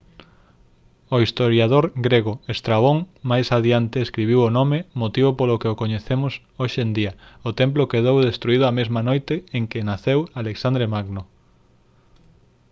o historiador grego estrabón máis adiante escribiu o nome motivo polo que o coñecemos hoxe en día o templo quedou destruído a mesma noite en que naceu alexandre magno